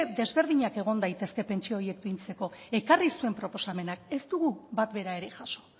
desberdinak egon daitezke pentsio horiek fintzeko ekarri zuen proposamenak ez dugu bat bera ere jaso